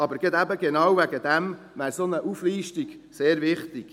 Aber genau deshalb wäre eine solche Auflistung sehr wichtig.